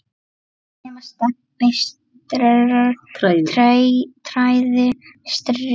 nema Stebbi træði strý.